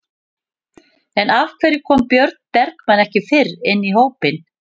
En af hverju kom Björn Bergmann ekki fyrr inn í hópinn?